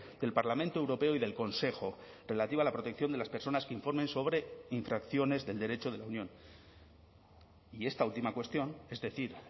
del parlamento europeo y del consejo relativa a la protección de las personas que informen sobre infracciones del derecho de la unión y esta última cuestión es decir